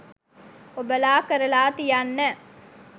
ඔබලා කරලා තියන්න